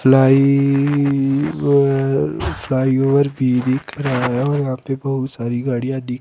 fly over flyover भी दिख रहा है और यहां पे बहुत सारी गाड़ियां दिख --